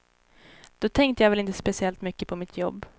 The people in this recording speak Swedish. Då tänkte jag väl inte speciellt mycket på mitt jobb.